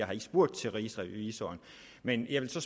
har spurgt til rigsrevisor men jeg vil så